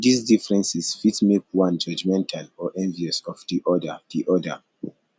these differences fit make one judgemental or envious of di other di other